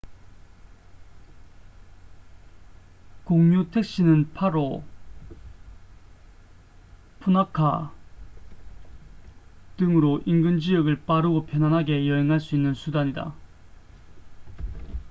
공유 택시는 파로nu 150 푸나카nu 200 등으로 인근 지역을 빠르고 편안하게 여행할 수 있는 수단이다